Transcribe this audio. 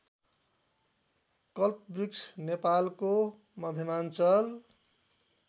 कल्पवृक्ष नेपालको मध्यमाञ्चल